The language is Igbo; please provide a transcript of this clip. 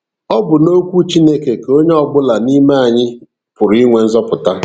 Ọ bụ n'Okwu Chineke ka onye ọbụla n'ime anyị pụrụ inwe nzọpụta.